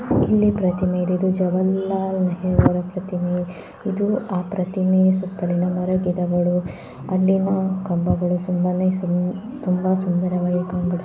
ಇಲ್ಲಿ ಪ್ರತಿಮೆ ಇದೆ ಇದು ಜವಾಹರ್ ಲಾಲ್ ನೆಹರು ಪ್ರತಿಮೆ ಇದು ಆ ಪ್ರತಿಮೆಯ ಸುತ್ತಲಿನ ಮರಗಳು ಗಿಡಗಳು ಅಲ್ಲಿನ ಕಂಬಗಳು ತುಂಬಾ ಸುಂದರವಾಗಿ ಕಂಗೊಳಿಸ್ --